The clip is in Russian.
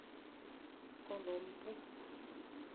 коломбу